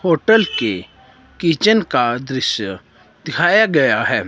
Hotel के kitchen का दृश्य दिखाया गया है।